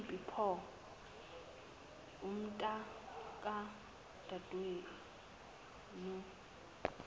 uphi pho umntakadadewenu